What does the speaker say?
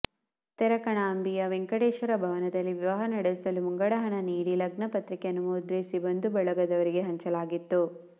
ತೆರಕಣಾಂಬಿಯ ವೆಂಕಟೇಶ್ವರ ಭವನದಲ್ಲಿ ವಿವಾಹ ನಡೆಸಲು ಮುಂಗಡ ಹಣ ನೀಡಿ ಲಗ್ನ ಪತ್ರಿಕೆಯನ್ನು ಮುದ್ರಿಸಿ ಬಂಧು ಬಳಗದವರಿಗೆ ಹಂಚಲಾಗಿತ್ತು